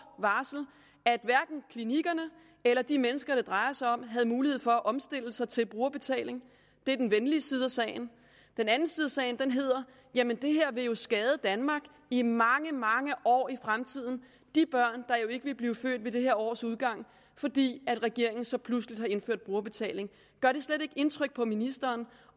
varsel at hverken klinikkerne eller de mennesker det drejer sig om har haft mulighed for at omstille sig til brugerbetaling det er den venlige side af sagen den anden side af sagen lyder jamen det her vil jo skade danmark i mange mange år i fremtiden er børn der jo ikke vil blive født ved dette års udgang fordi regeringen så pludseligt har indført brugerbetaling gør det slet ikke indtryk på ministeren